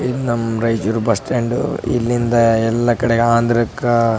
ಇದು ನಮ್ಮ್ Raichur bus stand ಇಲ್ಲಿಂದ ಎಲ್ಲ ಕಡೆ ಆಂದ್ರಕ್ಕ --